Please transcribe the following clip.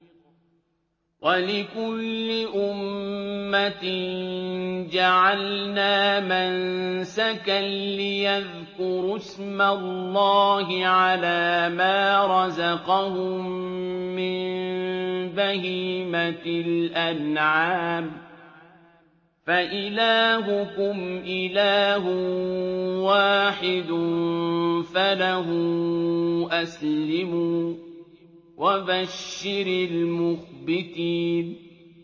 وَلِكُلِّ أُمَّةٍ جَعَلْنَا مَنسَكًا لِّيَذْكُرُوا اسْمَ اللَّهِ عَلَىٰ مَا رَزَقَهُم مِّن بَهِيمَةِ الْأَنْعَامِ ۗ فَإِلَٰهُكُمْ إِلَٰهٌ وَاحِدٌ فَلَهُ أَسْلِمُوا ۗ وَبَشِّرِ الْمُخْبِتِينَ